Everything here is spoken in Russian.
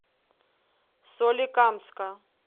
соликамска